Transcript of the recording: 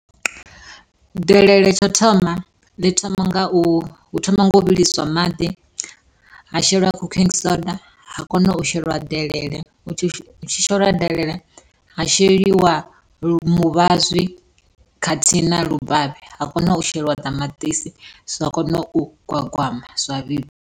Delele tsho thoma, ḽi thoma nga u hu thoma nga u vhiliswa maḓi ha shelwa cooking soda ha kona u shelwa delele. Hu tshi sheliwa delele, ha sheliwa muvhazwi khathihi na lubavhe ha kona u shelwa ṱamaṱisi zwa kona u gwagwama zwa vhibva.